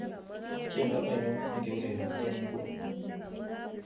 tiendo ainon negeurereni en inguni